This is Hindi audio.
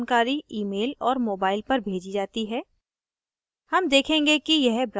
account activation जानकारी email और mobile पर भेजी जाती है